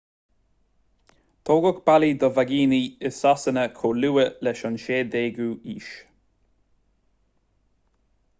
tógadh bealaí do vaigíní i sasana chomh luath leis an 16ú haois